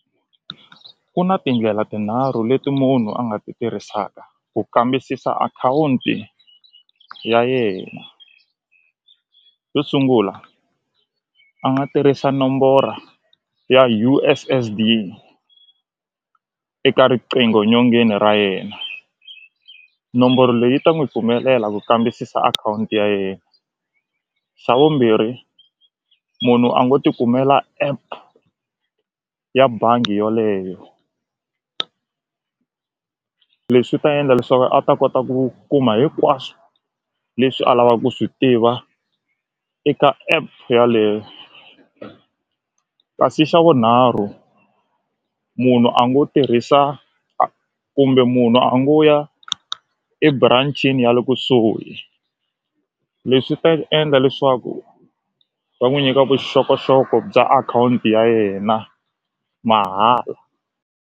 Ku na tindlela tinharhu leti munhu a nga ti tirhisaka ku kambisisa akhawunti ya yena xo sungula a nga tirhisa nombora ya U_S_S_D eka riqingho nyongeni ra yena nomboro leyi ta n'wi pfumelela ku kambisisa akhawunti ya yena xa vumbirhi munhu a ngo tikumela app ya bangi yoleyo leswi ta endla leswaku a ta kota ku kuma hinkwaswo leswi a lava ku swi tiva eka app yaleyo kasi xa vunharhu munhu a ngo tirhisa kumbe munhu a ngo ya eburancini ya le kusuhi leswi ta endla leswaku va n'wi nyika vuxokoxoko bya akhawunti ya yena mahala.